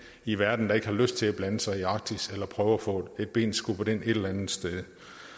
i verden der ikke har lyst til at blande sig i arktis eller prøver at få et ben skubbet ind et eller andet sted